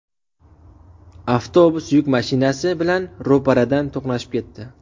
Avtobus yuk mashinasi bilan ro‘paradan to‘qnashib ketdi.